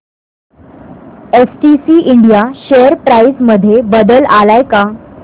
STC India share price मध्ये बदल आलाय का